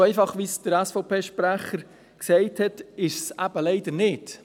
So einfach, wie es der SVP-Sprecher gesagt hat, ist es eben leider nicht.